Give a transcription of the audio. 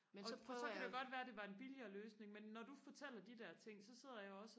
og så kan det jo godt være det var en billigere løsning men når du fortæller de der ting så sidder jeg også